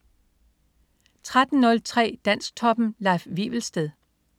13.03 Dansktoppen. Leif Wivelsted